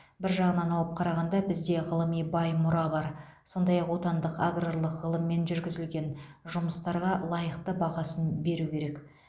бір жағынан алып қарағанда бізде ғылыми бай мұра бар сондай ақ отандық аграрлық ғылыммен жүргізілген жұмыстарға лайықты бағасын беру керек